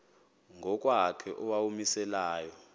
ngokwakhe owawumise layo